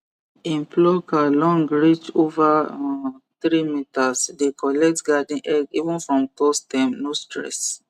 him plucker long reach over um three meterse dey collect garden egg even from tall stem no stress